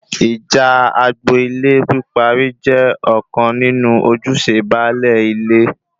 Ìjà agbo-ilé píparí jẹ ọ̀kan nínú ojúṣe baálé ilé